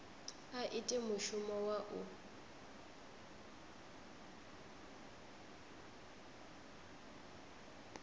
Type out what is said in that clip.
a ite mushumo wa u